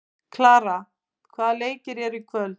Kara, hvaða leikir eru í kvöld?